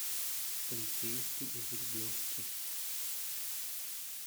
полицейский из рублевки